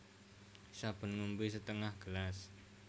Saben ngombé setengah gelas